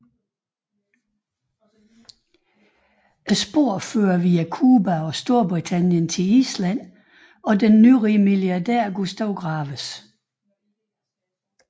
Sporene fører via Cuba og Storbritannien til Island og den nyrige milliardær Gustav Graves